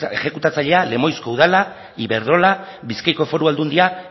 exekutatzailea lemoizko udala iberdrola bizkaiko foru aldundia